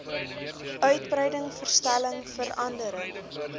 uitbreiding verstelling verandering